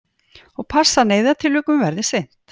Og passa að neyðartilvikum verði sinnt